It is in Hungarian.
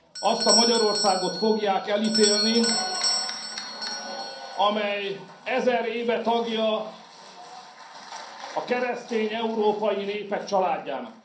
Azt a Magyarországot fogják elítélni, amely ezer éve tagja a keresztény európai népek családjának.